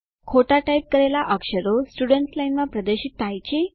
ખોટા ટાઇપ કરેલા અક્ષરો સ્ટુડન્ટ્સ લાઇન માં પ્રદર્શિત થાય છે